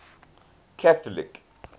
catholic